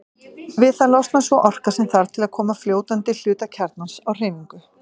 Við það losnar sú orka sem þarf til að koma fljótandi hluta kjarnans á hreyfingu.